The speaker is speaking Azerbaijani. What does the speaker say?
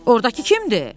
Ordakı kimdir?